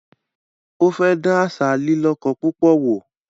Ó fẹ́ dán àṣà “lílíkọ púpọ̀” wò